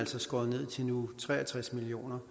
skåret ned til nu tre og tres million